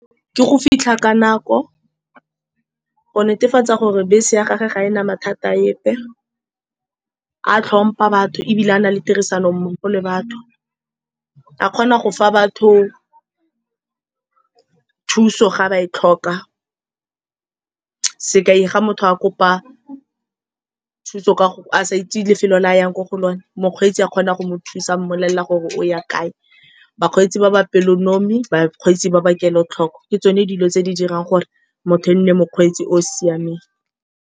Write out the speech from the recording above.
Ke go fitlha ka nako go netefatsa gore bese ya gagwe ga e na mathata, a tlhompa batho, ebile a na le tirisano mmogo le batho. A kgona go fa batho thuso ga ba e tlhoka, sekai fa motho a kopa thuso ka a sa itse lefelo le a yang ko go lone, mokgweetsi a kgona go mo thusa a mmolelela gore o ya kae. Bakgweetsi ba ba pelonomi, bakgweetsi ba ba kelotlhoko, ke tsone dilo tse di dirang gore motho e nne mokgweetsi o o siameng.